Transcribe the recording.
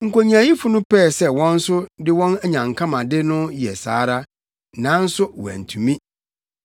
Nkonyaayifo no pɛɛ sɛ wɔn nso de wɔn anyankamade yɛ saa ara, nanso wɔantumi.